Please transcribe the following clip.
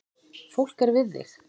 Fólk er við þig